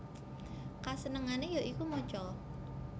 Kasenengane ya iku maca